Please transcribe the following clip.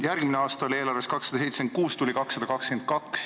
Järgmisel aastal oli eelarvesse oodatud 276 miljonit, tuli 222.